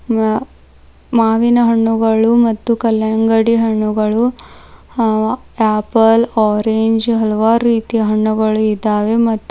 ಮಾ ಮಾವಿನ ಹಣ್ಣುಗಳು ಮತ್ತು ಕಲ್ಲಂಗಡಿ ಹಣ್ಣುಗಳು ಹಾವ ಆಪಲ್ ಆರೆಂಜ್ ಹಲವಾರು ರೀತಿಯ ಹಣ್ಣುಗಳು ಇದಾವೆ ಮತ್ತು --